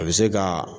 A bɛ se ka